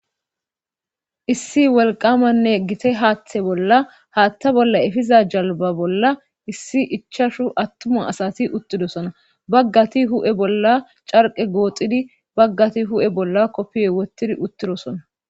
issi wolqamanne gite haaththe bolla haaththa bolla efiza jalba bolla issi ichashu attuma asati uttidosona baggati hu7e bolla carqe gooxidi baggati hu7e bolla koppiye wottidi uttidosona